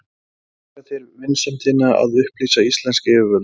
Þakka þér vinsemdina að upplýsa íslensk yfirvöld.